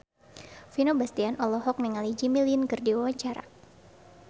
Vino Bastian olohok ningali Jimmy Lin keur diwawancara